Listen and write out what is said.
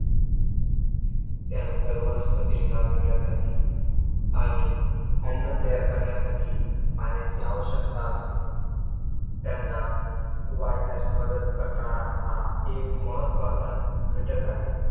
त्यानंतर वनस्पतींना जगण्यासाठी आणि अन्न तयार करण्यासाठी पाण्याची आवश्यकता असते. त्यांना वाढण्यास मदत करणारा हा एक महत्वाचा घटक आहे.